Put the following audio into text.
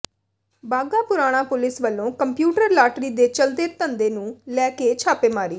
Bagha Purana police ਵਲੋਂ computer lottery ਦੇ ਚੱਲਦੇ ਧੰਦੇ ਨੂੰ ਲੈ ਕੇ ਛਾਪੇਮਾਰੀ